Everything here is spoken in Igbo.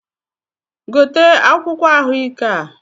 Gote akwụkwọ̇ ahụ ike a!